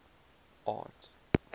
art